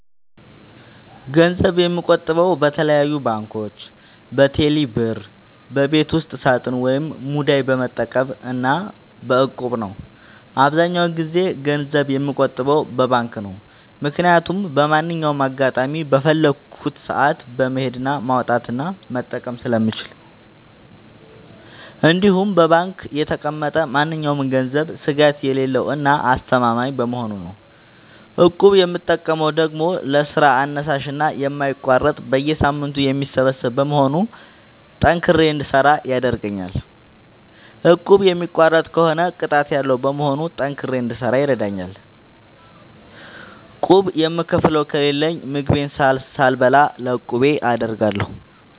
ገንዘብ የምቆጥበው በተለያዩ ባንኮች÷በቴሌ ብር ÷በቤት ውስጥ ሳጥን ወይም ሙዳይ በመጠቀም እና በ እቁብ ነው። አብዛኛውን ጊዜ ገንዘብ የምቆጥበው በባንክ ነው። ምክያቱም በማንኛውም አጋጣሚ በፈለኩት ሰአት በመሄድ ማውጣት እና መጠቀም ስለምችል እንዲሁም በባንክ የተቀመጠ ማንኛውም ገንዘብ ስጋት የሌለው እና አስተማማኝ በመሆኑ ነው። እቁብ የምጠቀመው ደግሞ ለስራ አነሳሽና የማይቋረጥ በየሳምንቱ የሚሰበሰብ በመሆኑ ጠንክሬ እንድሰራ ያደርገኛል። እቁቡን የሚቋርጥ ከሆነ ቅጣት ያለዉ በመሆኑ ጠንክሬ እንድሰራ ይረደኛል። ቁብ የምከፍለው ከሌለኝ ምግቤን ሳልበላ ለቁቤ አደርጋለሁ።